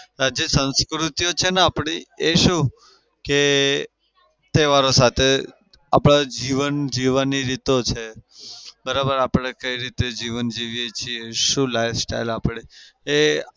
હજી જે સંસ્કૃતિ છે ને આપડી એ શું કે તહેવારો સાથે આપડે જીવન જીવાની રીતો છે બરાબર? આપડે કઈ રીતે જીવન જીવીએ છીએ? શું life style આપડે એ